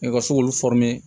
U ka se k'olu